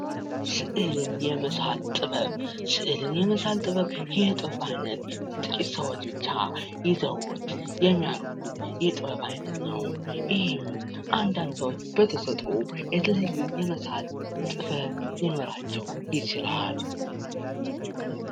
ስእል የመሳል ጥበብ ስእልን የመሳል ጥበብ ይህ የጥበብ ዓይነት ጥቂት ሰዎች ብቻ ይዘውት የሚያደርጉት የጥበብ ዓይነት ነው። ይህም አንዳንድ ሰዎች በተሰጡ የተለየ የተመሳል ጥበብ ሊኖራቸው ይችላል።